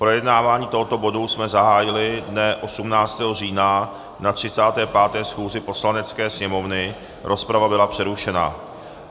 Projednávání tohoto bodu jsme zahájili dne 18. října na 35. schůzi Poslanecké sněmovny, rozprava byla přerušena.